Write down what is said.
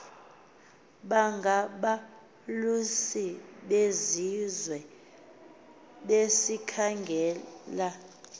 bangabalusi besizwe besikhangelela